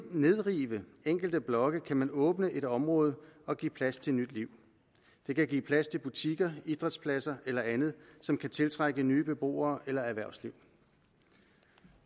nedrive enkelte blokke kan man åbne et område og give plads til nyt liv det kan give plads til butikker idrætspladser eller andet som kan tiltrække nye beboere eller erhvervsliv